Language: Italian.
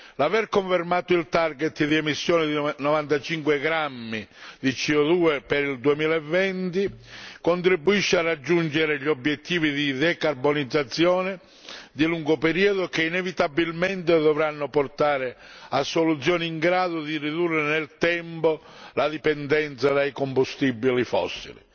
L'aver confermato il target di emissione di 95 grammi di CO 2 per il 2020 contribuisce a raggiungere gli obiettivi di decarbonizzazione di lungo periodo, che inevitabilmente dovranno portare a soluzioni in grado di ridurre nel tempo la dipendenza dai combustibili fossili.